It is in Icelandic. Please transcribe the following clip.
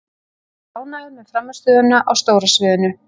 Ég er ánægður með frammistöðuna á stóra sviðinu.